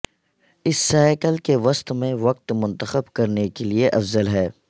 اس cycle کے وسط میں وقت منتخب کرنے کے لئے افضل ہے